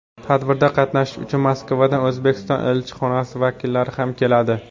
Tadbirda qatnashish uchun Moskvadan O‘zbekiston elchixonasi vakillari ham keladi.